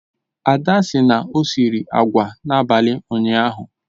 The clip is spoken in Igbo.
Ada sị na o siri agwa n'abalị ụnyaahụ